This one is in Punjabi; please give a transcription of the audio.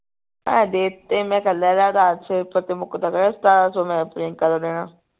ਮੈਂ ਦੇ ਤੇ ਮੈਂ ਕਿਹਾ ਲੈ ਲੈ ਉਧਾਰ ਮੁਕਦਾ ਸਤਾਰਾਂ ਸੋ ਮੈਂ ਪ੍ਰਿਅੰਕਾ ਦਾ ਦੇਣੇ